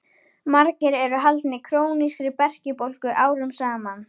Margir eru haldnir krónískri berkjubólgu árum saman.